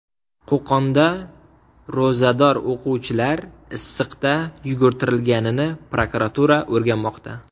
Qo‘qonda ro‘zador o‘quvchilar issiqda yugurtirilganini prokuratura o‘rganmoqda.